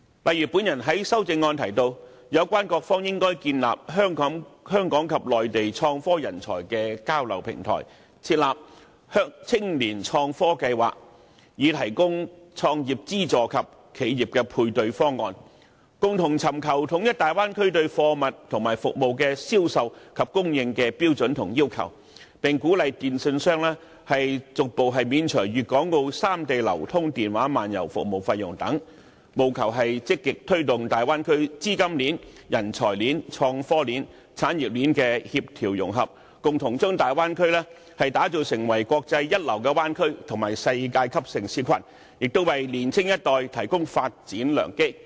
就如我在修正案提到，有關各方應建立香港及內地創科人才的交流平台，推出青年創科計劃，提供創業資助及企業配對方案，共同尋求統一大灣區對貨物和服務的銷售及供應的標準和要求，並鼓勵電訊商逐步免除粵港澳三地流動電話漫遊服務費用等，務求積極推動大灣區的資金鏈、人才鏈、創科鏈、產業鏈的協調融合，共同將大灣區打造成國際一流的灣區及世界級城市群，並為年青一代提供發展良機。